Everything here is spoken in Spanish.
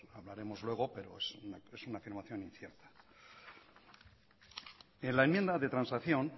hablaremos luego pero es una afirmación incierta en la enmienda de transacción